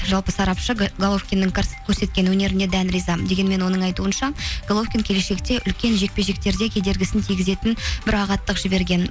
жалпы сапаршы головкиннің көрсеткен өнеріне дән риза дегенмен оның айтуынша головкин келешекте үлкен жекпе жектерде кедергісін тигізетін бір ағаттық жіберген